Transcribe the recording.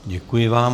Děkuji vám.